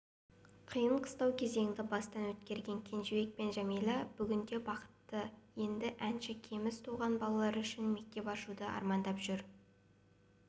қиын-қыстау кезеңді бастан өткерген кенжебек пен жәмилә бүгінде бақытты енді әнші кеміс туған балалар үшін мектеп ашуды армандап жүр